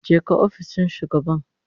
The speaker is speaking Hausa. Jeka ofishin shugaban